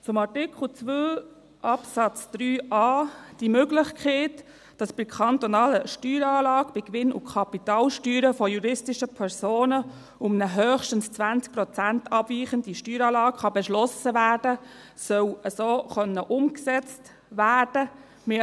Zu Artikel 2 Absatz 3a: Die Möglichkeit, dass bei kantonalen Steueranlagen bei Gewinn- und Kapitalsteuern von juristischen Personen eine um höchstens 20 Prozent abweichende Steueranlage beschlossen werden kann, soll so umgesetzt werden können.